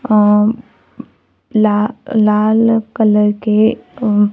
अ ला लाल कलर के अ--